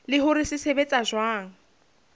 le hore se sebetsa jwang